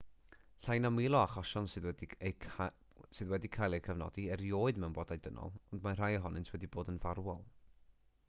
llai na mil o achosion sydd wedi cael eu cofnodi erioed mewn bodau dynol ond mae rhai ohonynt wedi bod yn farwol